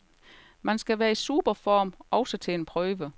Man skal være i superform, også til en prøve.